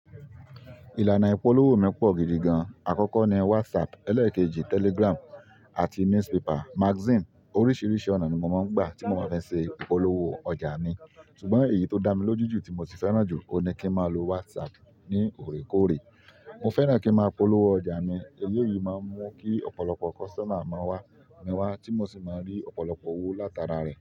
Ìlànà ìpolówó mi pọ̀ gidi gan. Àkọ́kọ́ ni WhatsApp, elẹ́ẹ̀kejì Telegram, àti newspaper, magazine oríṣìíríṣìí ọ̀nà ni mo máa ń gbà tí mo bá fẹ́ ṣe ìpolówó ọjà mi. Sugbọn èyí tó dá mi lójú jù tí mo sì fẹ́ràn jù ohun ni kí n máa lo WhatsApp ní òrékóòrè. Mo fẹ́ràn kí n máa polówó ọjà mi. Eleyìí máa ń mú kí ọ̀pọ̀lọpọ̀ customer máa wá mi wá tí mo sì máa rí ọ̀pọ̀lọpọ̀ owó látara rẹ̀.